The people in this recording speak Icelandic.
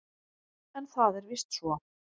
En það er víst svo.